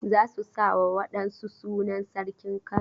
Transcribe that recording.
Za su sa wa wa ɗan su sunan sarkin Kano.